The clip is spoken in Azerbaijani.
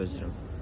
Gözləyirəm.